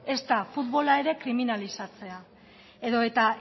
ezta futbola ere kriminalizatzea edota